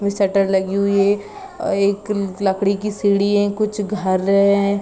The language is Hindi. ई शटर लगी हुई है और ई एक लकड़ी की सीढ़ी है कुछ घर ए है।